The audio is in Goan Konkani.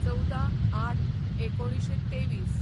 १४/०८/१९२३